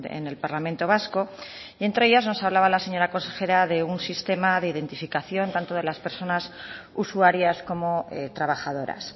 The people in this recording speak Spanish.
en el parlamento vasco y entre ellas nos hablaba la señora consejera de un sistema de identificación tanto de las personas usuarias como trabajadoras